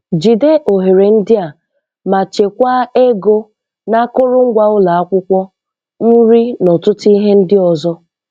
Jide ohere ndị a ma chekwaa ego na akụrụngwa ụlọ akwụkwọ, nri na ọtụtụ ihe ndị ọzọ.